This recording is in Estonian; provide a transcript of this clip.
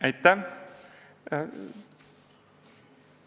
Aitäh!